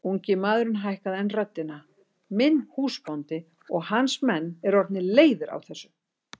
Ungi maðurinn hækkaði enn röddina:-Minn húsbóndi og hans menn eru orðnir leiðir á þessu!